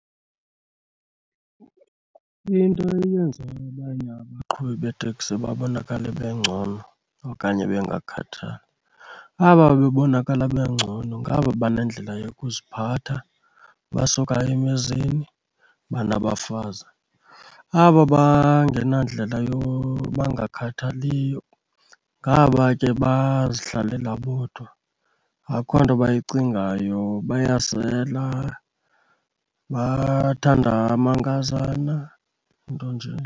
Into eyenza abanye abaqhubi beeteksi babonakale bengcono okanye bangakhathali, aba bebonakala bengcono ngaba banendlela yokuziphatha, basuka emizini, banabafazi. Aba bangenandlela bangakhathaliyo ngaba ke bazihlalela bodwa, akukho nto bayicingayo, bayasela, bathanda umankazana, nto nje.